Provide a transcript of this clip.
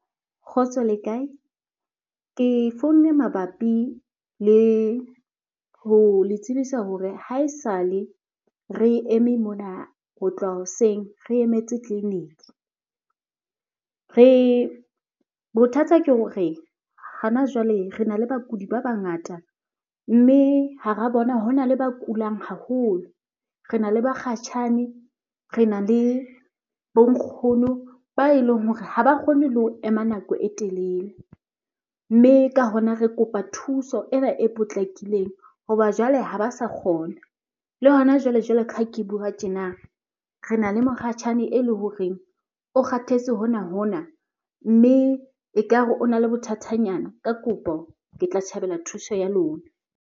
Kgotso le kae? Ke founne mabapi le ho le tsebisa hore ha esale re eme mona ho tloha hoseng, re emetse tleliniki. Re, bothata ke hore hana jwale re na le bakudi ba bangata mme hara bona hona le ba kulang haholo. Re na le bakgatjhane, re na le bo nkgono ba eleng hore ha ba kgone le ho ema nako e telele. Mme ka hona, re kopa thuso ena e potlakileng hoba jwale ha ba sa kgona. Le hona jwale, jwalo ka ha ke bua tjena re na le mokgashane ele horeng o kgathetse hona-hona mme ekare o na le bothatanyana. Ka kopo ke tla tjhabela thuso ya lona.